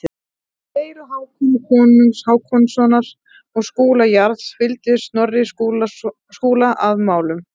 Í deilu Hákonar konungs Hákonarsonar og Skúla jarls fylgdi Snorri Skúla að málum.